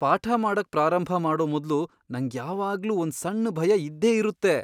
ಪಾಠ ಮಾಡಕ್ ಪ್ರಾರಂಭ ಮಾಡೋ ಮೊದ್ಲು ನಂಗ್ ಯಾವಾಗ್ಲೂ ಒಂದ್ ಸಣ್ ಭಯ ಇದ್ದೇ ಇರುತ್ತೆ.